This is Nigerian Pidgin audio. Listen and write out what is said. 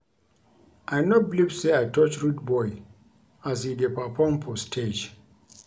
I no believe say I touch Rudeboy as he dey perform for stage